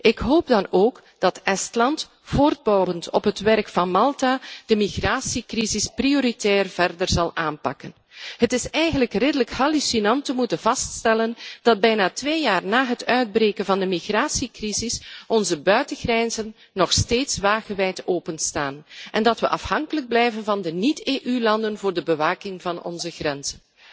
Ik hoop dan ook dat Estland, voortbouwend op het werk van Malta, de migratiecrisis prioritair verder zal aanpakken. Het is eigenlijk redelijk schokkend te moeten vaststellen dat bijna twee jaar na het uitbreken van de migratiecrisis onze buitengrenzen nog steeds wagenwijd openstaan en dat we afhankelijk blijven van de niet EU landen voor de bewaking van onze grenzen.